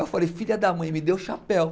Eu falei, filha da mãe, me deu o chapéu.